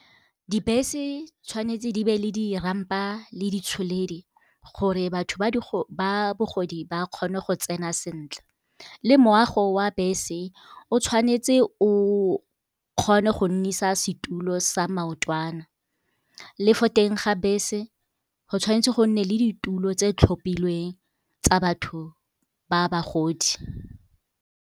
Dibese tshwanetse di be le di-ramp-a le di tsholedi, gore batho ba bogodi ba kgone go tsena sentle. Le moago wa bese o tshwanetse o kgone go nnisa setulo sa maotwana. Le fo teng ga bese go tshwanetse go nne le ditulo tse di tlhophilweng tsa batho ba bagodi.